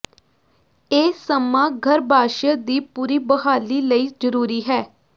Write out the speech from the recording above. ਇਹ ਸਮਾਂ ਗਰੱਭਾਸ਼ਯ ਦੀ ਪੂਰੀ ਬਹਾਲੀ ਲਈ ਜਰੂਰੀ ਹੈ